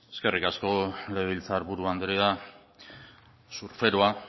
eskerrik asko legebiltzar buru andrea surferoa